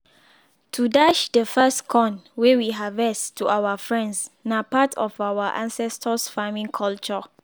to dash de first corn wey we harvest to our friends na part of our ancestors farming culture